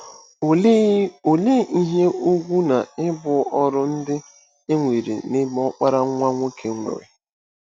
Olee Olee ihe ùgwù na ibu ọrụ ndị e nwere n'ebe ọkpara nwa nwoke nwere?